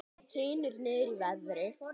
Hrynur niður í verði